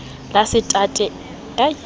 otsjet ejiwe la setate emte